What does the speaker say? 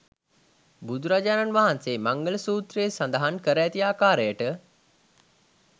බුදුරජාණන් වහන්සේ මංගල සූත්‍රයේ සඳහන් කර ඇති ආකාරයට